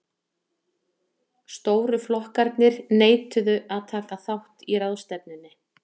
stóru flokkarnir neituðu að taka þátt í ráðstefnunni